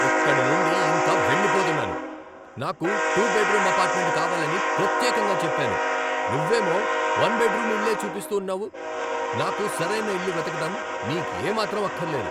ఇక్కడి నుండి ఇంక వెళ్ళిపోతున్నాను. నాకు టూ బెడ్రూమ్ అపార్ట్మెంట్ కావాలని ప్రత్యేకంగా చెప్పాను, నువ్వేమో వన్ బెడ్రూమ్ ఇళ్ళే చూపిస్తూ ఉన్నావు. నాకు సరైన ఇల్లు వెతకటం నీకేమాత్రం అక్కర్లేదు.